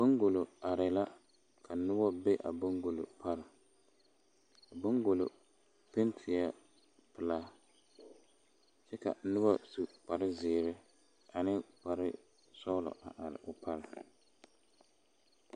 Baŋgolu arɛɛ la ka noba be a baŋgolu pare boŋgolu pɛɛteɛ pelaa kyɛ ka noba su kpare ziiri ane kpare sɔglɔ a are o pare.